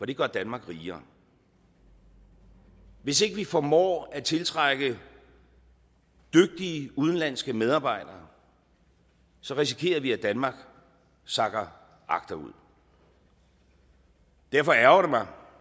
det gør danmark rigere hvis ikke vi formår at tiltrække dygtige udenlandske medarbejdere risikerer vi at danmark sakker agterud derfor ærgrer